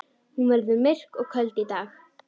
Hún verður myrk og köld í dag.